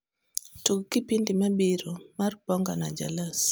tug kipindi mabiro mar bonga na jalas